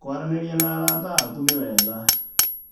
Kũaranĩria na arata aku nĩ wega.